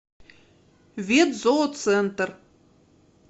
ветзооцентр